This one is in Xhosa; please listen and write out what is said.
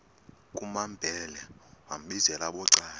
kumambhele wambizela bucala